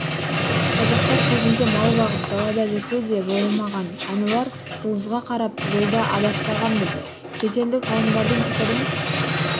қазақтар кезінде мал бағып далада жүрсе де жойылмаған әнуар жұлдызға қарап жолда адаспағанбыз шетелдік ғалымдардың пікірін